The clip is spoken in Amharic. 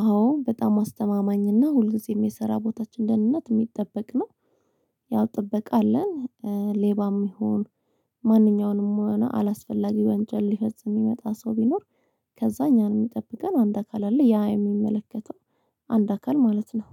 አዎ በጣም አስተማማኝና ሁልጊዜም የስራ ቦታችን ደህንነት የሚጠበቅ ነው። ያው ጥበቃ አለን። ሌባም ይሁን ማንኛውንም አላስፈላጊ ወንጀል ሊፈጽም የሚመጣ ሰው ቢኖር። ከዛ እኛን የሚጠብቀን አንድ አካል አለ። ያ የሚመለከተው አንድ አካል ማለት ነው